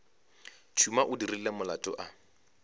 tšhuma o dirile molato a